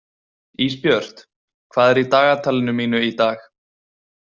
Ísbjört, hvað er í dagatalinu mínu í dag?